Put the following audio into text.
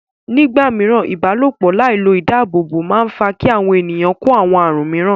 Nígbà mìíràn, ìbálòpọ̀ láì lo ìdáàbòbò máa ń fà á kí àwọn ènìyàn kó àwọn àrùn míràn.